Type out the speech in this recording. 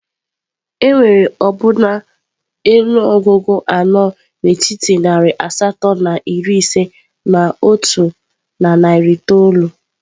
Enwere ọbụna ọnụọgụ anọ n'etiti narị asatọ na iri ise na otu na narị itoolu.